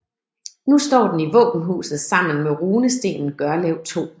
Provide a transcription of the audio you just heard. Nu står den i våbenhuset sammen med Runestenen Gørlev 2